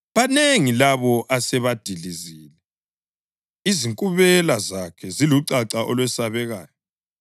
Banengi labo asebadilizile; izinkubela zakhe zilucaca olwesabekayo.